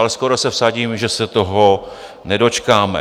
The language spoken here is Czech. Ale skoro se vsadím, že se toho nedočkáme.